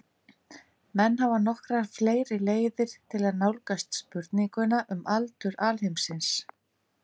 Menn hafa nokkrar fleiri leiðir til að nálgast spurninguna um aldur alheimsins.